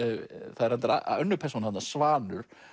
það er reyndar önnur persóna þarna Svanur